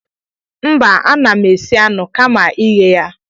mba ana m esi anụ kama ịghe ya